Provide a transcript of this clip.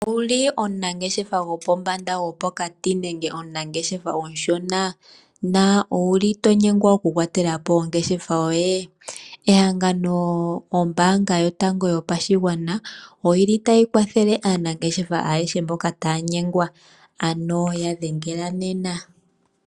Ou li omunangeshefa gopombanda, gopokati nenge omushona na ou li to nyengwa okukwatela po ongeshefa yoye? Ehangano lyombaanga yotango yopashigwana otali kwathele aanangeshefa ayehe mboka taa nyengwa, ano ya dhengela nena.